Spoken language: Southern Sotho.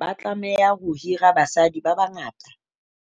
Ba tlameha ho hira basadi ba bangata